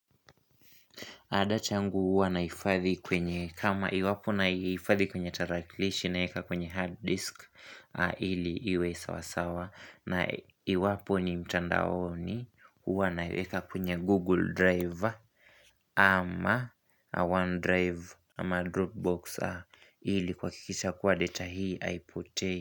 Data yangu huwa nahifadhi kwenye kama iwapo naifadhi kwenye tarakilishi na weka kwenye hard disk ili iwe sawasawa na iwapo ni mtandaoni huwa naiweka kwenye google drive ama one drive ama dropbox ili kuhakikisha kuwa data hii haipotei.